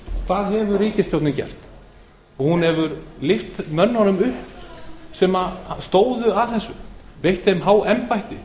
hvað hefur ríkisstjórnin gert í stað þess hún hefur lyft mönnunum upp sem stóðu að þessu veitt þeim há embætti